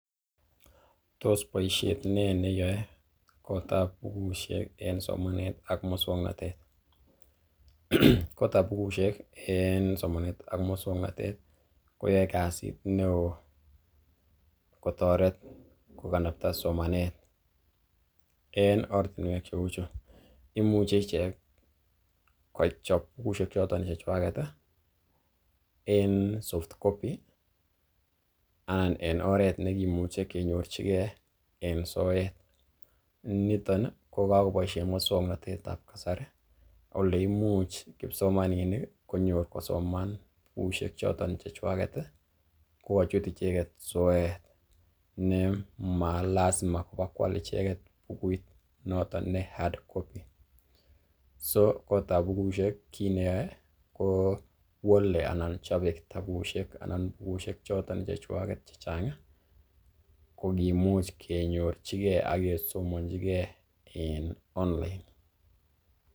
Tos boisiet nee neyoe kotab bukusiek en somanet ak muswoknotet? Kotab bukushek en somanet ak muswokanetet koyae kasit neo kotoret koganapta somanet en ortinwek cheu chu: Imuche ichek kochop bukushek choton chechwaget en softcopy anan en oret nekimuch ekenyorchi en soet. Niton ko kagoboishen muswoknatet ab kasari ole imuch kipsomaninik konyor kosoman bukushek choton chechwaget kogochut icheget soet ne malazima koba koal icheget bukuit noton ne hardcopy so kotab bukushek kiit neyoe kowale anan chobe kitabusiek anan bukuishek choton chechwaket che chang kogimuch kenyorchi ge ak kisomonchige en online